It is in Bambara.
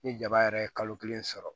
Ni jaba yɛrɛ ye kalo kelen sɔrɔ